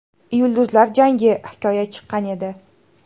Yulduzlar jangi: Hikoya” chiqqan edi.